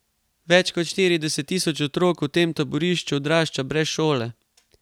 Več kot štirideset tisoč otrok v tem taborišču odrašča brez šole.